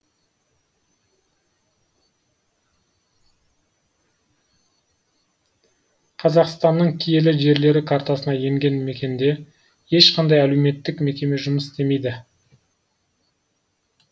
қазақстанның киелі жерлері картасына енген мекенде ешқандай әлеуметтік мекеме жұмыс істемейді